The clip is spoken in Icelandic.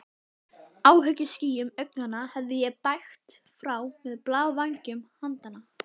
Áhyggjuskýjum augnanna hefði ég bægt frá með blævængjum handanna.